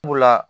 Sabula